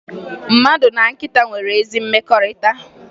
Mmadụ na nkịta nwere ezi mmekọrịta